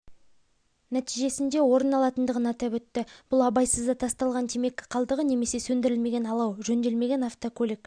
нәтижесінде орын алатындығын атап өтті бұл абайсызда тасталған темекі қалдығы немесе сөндірілмеген алау жөнделмеген автокөлік